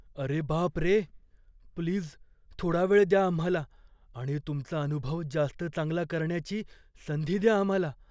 अरे बापरे... प्लीज थोडा वेळ द्या आम्हाला आणि तुमचा अनुभव जास्त चांगला करण्याची संधी द्या आम्हाला.